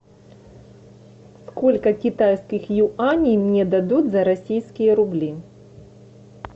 сколько китайских юаней мне дадут за российские рубли